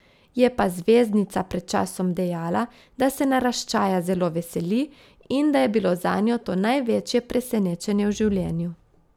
Je pa zvezdnica pred časom dejala, da se naraščaja zelo veseli in da je bilo zanjo to največje presenečenje v življenju.